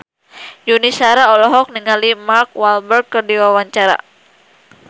Yuni Shara olohok ningali Mark Walberg keur diwawancara